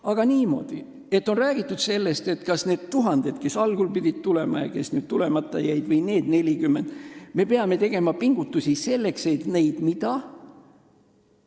Aga niimoodi, et on räägitud sellest, et nende tuhandete puhul, kes algul pidid tulema ja kes tulemata jäid, või nüüd nende 40 puhul me peame tegema pingutusi selleks, et neid – mida?